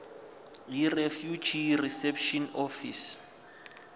yirefugee reception office